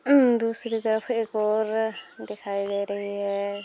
उम्म दूसरी तरफ एक और अ दिखाई दे रही है।